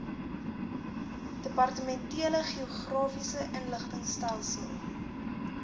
departementele geografiese inligtingstelsel